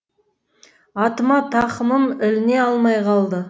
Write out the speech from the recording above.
атыма тақымым іліне алмай қалды